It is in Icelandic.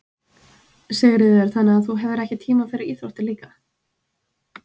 Sigríður: Þannig að þú hefur ekki tíma fyrir íþróttir líka?